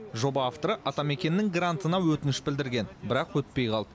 жоба авторы атамекеннің грантына өтініш білдірген бірақ өтпей қалды